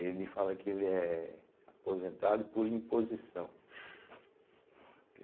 Ele fala que ele é aposentado por imposição. Que